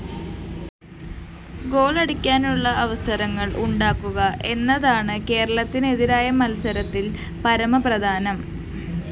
ഗോളടിക്കാനുള്ള അവസരങ്ങള്‍ ഉണ്ടാക്കുക എന്നതാണ് കേരളത്തിനെതിരായ മത്സരത്തില്‍ പരമ പ്രധാനം